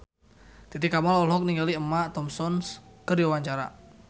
Titi Kamal olohok ningali Emma Thompson keur diwawancara